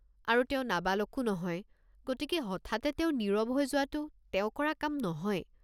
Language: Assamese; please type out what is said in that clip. আৰু তেওঁ নাবালকো নহয়, গতিকে হঠাতে তেওঁ নীৰৱ হৈ যোৱাতো তেওঁ কৰা কাম নহয়।